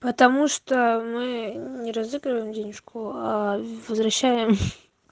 потому что мы не разыгрываем денежку а возвращаем